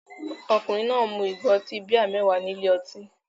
Ọkùnrin náà mu ìgò ọtí bíà mẹ́wàá ní ilé ọtí lánàá.